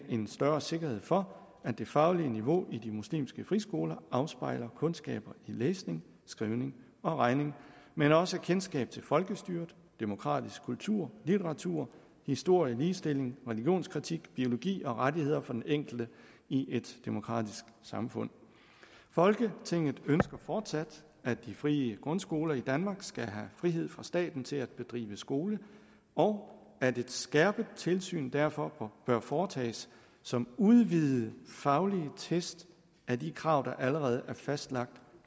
en større sikkerhed for at det faglige niveau i de muslimske friskoler afspejler kundskaber i læsning skrivning og regning men også kendskab til folkestyret demokratisk kultur litteratur historie ligestilling religionskritik biologi og rettigheder for den enkelte i et demokratisk samfund folketinget ønsker fortsat at de frie grundskoler i danmark skal have frihed fra staten til at bedrive skole og at et skærpet tilsyn derfor bør foretages som udvidede faglige test af de krav der allerede er fastlagt